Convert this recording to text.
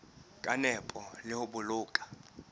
ka nepo le ho boloka